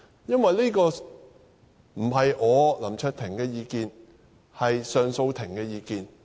這不是我林卓廷的意見，而是上訴庭的意見。